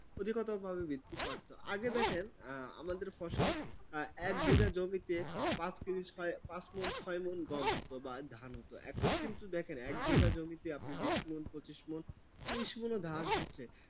অধিকতর ভাবে বৃদ্ধি পাচ্ছে, আগে দেখেন আমাদের ফসল এক বিঘা জমিতে পাঁচ তিরিশ, পাঁচ মন ছয় মন গম হত বা ধান হতো. এখন কিন্তু দেখেন এক বিঘা জমিতে আপনি বিশ মন পচিশ মন তিরিশ মন ধান হচ্ছে